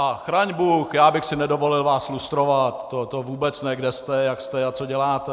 A chraň bůh, já bych si nedovolil vás lustrovat, to vůbec ne, kde jste, jak jste a co děláte.